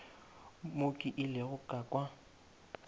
mo ke ilego ka kwa